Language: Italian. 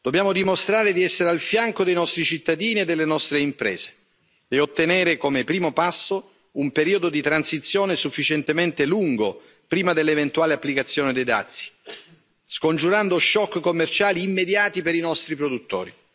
Dobbiamo dimostrare di essere al fianco dei nostri cittadini e delle nostre imprese e ottenere, come primo passo, un periodo di transizione sufficientemente lungo prima dell'eventuale applicazione dei dazi, scongiurando shock commerciali immediati per i nostri produttori.